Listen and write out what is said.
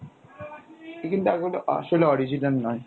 আসলে original নয়।